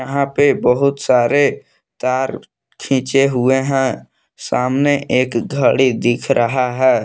यहां पे बहुत सारे तार खींचे हुए है सामने एक घड़ी दिख रहा है।